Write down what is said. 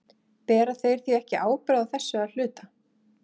Bera þeir því ekki ábyrgð á þessu að hluta?